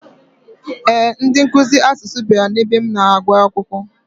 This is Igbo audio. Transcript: Ee, ndị nkuzi asụsụ bịara n'ebe m na-agwụ akwụkwọ.